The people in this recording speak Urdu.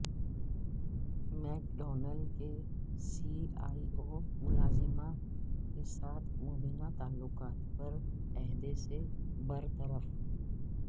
میک ڈونلڈز کے سی ای او ملازمہ کے ساتھ مبینہ تعلقات پر عہدے سے برطرف